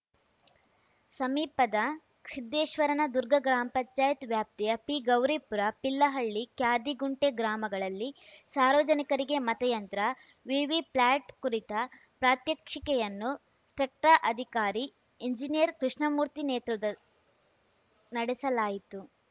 ಸಮೀಪದ ಸಿದ್ದೇಶ್ವರನ ದುರ್ಗ ಗ್ರಾಮ್ ಪಂಚಾಯತ್ ವ್ಯಾಪ್ತಿಯ ಪಿಗೌರೀಪುರ ಪಿಲ್ಲಹಳ್ಳಿ ಕ್ಯಾದಿಗುಂಟೆ ಗ್ರಾಮಗಳಲ್ಲಿ ಸಾರ್ವಜನಿಕರಿಗೆ ಮತಯಂತ್ರ ವಿವಿಪ್ಲ್ಯಾಟ್‌ ಕುರಿತ ಪ್ರಾತ್ಯಕ್ಷಿಕೆಯನ್ನು ಸ್ಟೆಕ್ಟ ಅಧಿಕಾರಿ ಎಂಜಿನಿಯರ್‌ ಕೃಷ್ಣಮೂರ್ತಿ ನೇತೃತ್ವದ ನಡೆಸಲಾಯಿತು